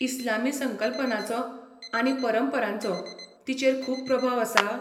इस्लामी संकल्पनांचो आनी परंपरांचो तिचेर खूब प्रभाव आसा?